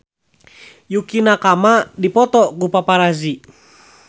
Yukie Nakama dipoto ku paparazi